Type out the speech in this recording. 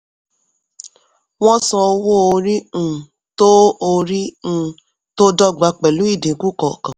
wọ́n san owó orí um tó orí um tó dọ́gba pẹ̀lú ìdínkù kọọkan.